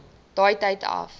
daai tyd af